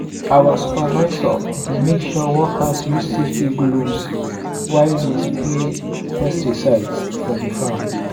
our supervisor dey make sure workers use safety gloves while dey spray pesticides for di farm.